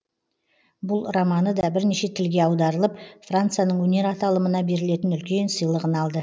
бұл романы да бірнеше тілге аударылып францияның өнер аталымына берілетін үлкен сыйлығын алды